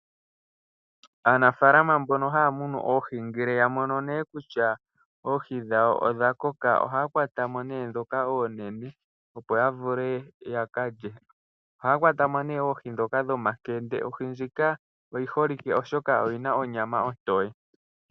Aanafaalama mbono haya munu oohi ngele ya mono nee kutya oohi dhawo odha koka ohaya kwata mo nee ndhoka oonene opo ya vule yaka lye. Ohaya kwata mo nee oohi ndhoka dhomakende, ohi ndjika oyi holike oshoka oyi na onyama ontoye.